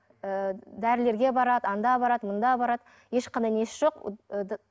ы дәрілерге барады анда барады мұнда барады ешқандай несі жоқ